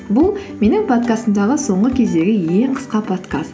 бұл менің подкастымдағы соңғы кездегі ең қысқа подкаст